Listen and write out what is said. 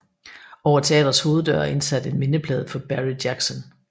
Over teatrets hoveddør er indsat en mindeplade for Barry Jackson